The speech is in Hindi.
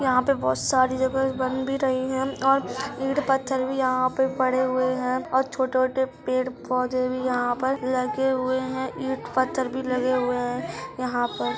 यहाँ पे बहुत सारी जगह बन भी रही है और इट पत्थर भी यहाँ पे पड़े हुए है और छोटे-छोटे पेड़-पौधे भी यहाँ पर लगे हुए है इट पत्थर भी लगे हुए हैं। यहाँ पर --